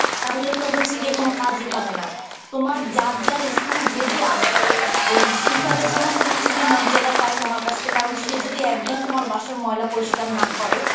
তাহলে তো হচ্ছে গিয়ে কোন কাজই হবে না. তোমার যার যার স্থানে যে যে আসে, ওই sweeper এর যেমন হচ্ছে গিয়ে মর্যাদা পায় তোমার কাছ থেকে কারণ সে যদি একদিন তোমার বাসার ময়লা পরিষ্কার না করে